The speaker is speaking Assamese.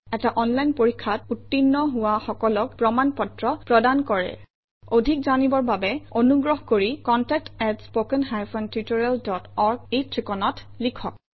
এটা অনলাইন পৰীক্ষাত উত্তীৰ্ণ হোৱা সকলক প্ৰমাণ পত্ৰ প্ৰদান কৰে অধিক জানিবৰ বাবে অনুগ্ৰহ কৰি contact at spoken hyphen tutorial dot org এই ঠিকনাত লিখক